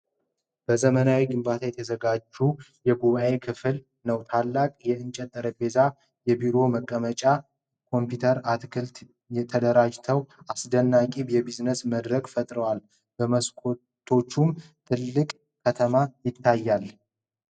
በዘመናዊ ግንባታ የተዘጋጀ የጉባኤ ክፍል ነው። ታላቅ የእንጨት ጠረጴዛ፣ የቢሮ መቀመጫዎች፣ ኮምፒዩተሮችና አትክልቶች ተደራጅተው አስደናቂ የቢዝነስ መድረክ ፈጥረዋል። በመስኮቶቹም ትልቅ ከተማ ይታያል።